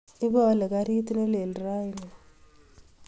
Ipaale karit nelel raini